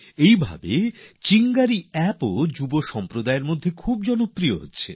এই রকমই চিঙ্গারি অ্যাপও তরুণদের মধ্যে জনপ্রিয় হচ্ছে